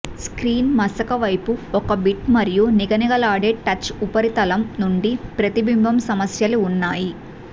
screen మసక వైపు ఒక బిట్ మరియు నిగనిగలాడే టచ్ ఉపరితలం నుండి ప్రతిబింబం సమస్యలు ఉన్నాయి